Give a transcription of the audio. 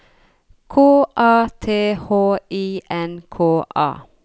K A T H I N K A